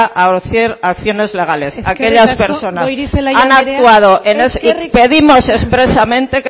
a hacer acciones legales aquellas personas eskerrik asko goirizelaia anderea pedimos expresamente